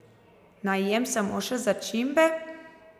Naj jem samo še začimbe?